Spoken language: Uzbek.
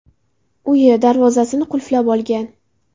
uyi darvozasini qulflab olgan.